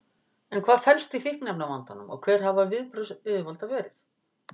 En hvað felst í fíkniefnavandanum og hver hafa viðbrögð yfirvalda verið?